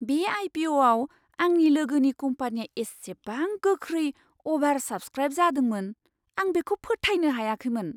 बे आइ पि अ'आव आंनि लोगोनि कम्पानीया इसेबां गोख्रै अ'भार साब्सक्राइब जादोंमोन, आं बेखौ फोथायनो हायाखैमोन!